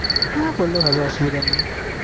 হ্যাঁ বললে হবে অসুবিধে নেই